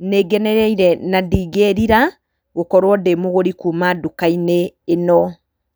nĩ ngenereire na ndingĩrira, gũkorwo ndĩ mũgũri kuuma nduka-inĩ ĩno.